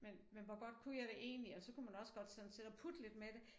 Men men hvor godt kunne jeg det egentlig og så kunne man også godt sådan sidde og putte lidt med det